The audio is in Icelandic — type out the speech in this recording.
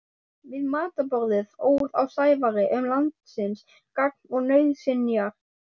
Við matarborðið óð á Sævari um landsins gagn og nauðsynjar.